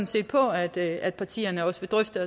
set på at at partierne også vil drøfte